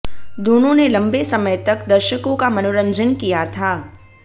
दोनों ने लंबे समय तक दर्शकों का मनोरंजन किया था